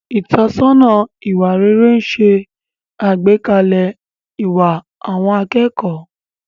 Ìtọ́sọ́nà ìwà rere ń ṣe àgbékalẹ̀ ìwà àwọn akẹ́kọ̀ọ́.